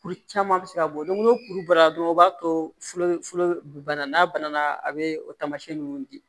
Kuru caman bɛ se ka bɔ ni kuru bɔra dɔrɔn o b'a to bana n'a bana na a bɛ tamasiyɛn ninnu di